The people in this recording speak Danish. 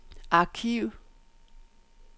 arkiv